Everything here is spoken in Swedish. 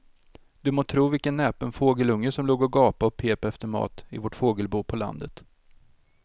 Du må tro vilken näpen fågelunge som låg och gapade och pep efter mat i vårt fågelbo på landet.